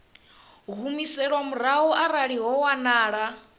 humiselwa murahu arali ho wanala